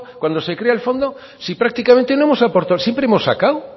cuando se crea el fondo si prácticamente no hemos aportado siempre hemos sacado